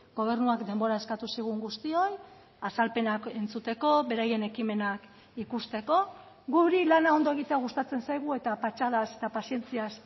gobernuak denbora eskatu zigun guztioi azalpenak entzuteko beraien ekimenak ikusteko guri lana ondo egitea gustatzen zaigu eta patxadaz eta pazientziaz